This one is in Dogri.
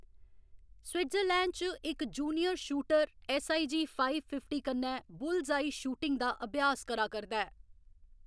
स्विट्जरलैंड च इक junior shooter SIG five fifty कन्नै बुलस्आई शूटिंग दा अभ्यास करा करदा ऐ।